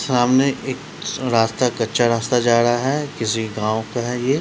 सामने एक स रास्ता कच्चा रास्ता जा रहा है किसी गांव का है ये --